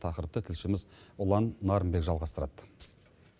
тақырыпты тілшіміз ұлан нарынбек жалғастырады